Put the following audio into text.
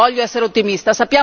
voglio essere ottimista